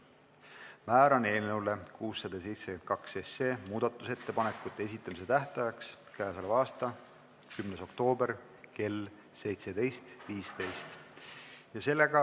Määran eelnõu 672 muudatusettepanekute esitamise tähtajaks k.a 10. oktoobri kell 17.15.